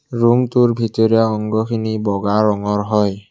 ৰূমটোৰ ভিতৰে অংগখিনি বগা ৰঙৰ হয়।